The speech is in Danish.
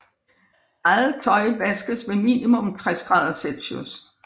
Eget tøj vaskes ved minimum 60º C